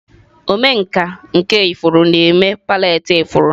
Omenkà nke ifuru na-eme palette ifuru.